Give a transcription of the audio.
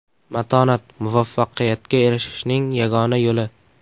Matonat – muvaffaqiyatga erishishning yagona yo‘li.